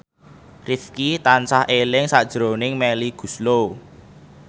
Rifqi tansah eling sakjroning Melly Goeslaw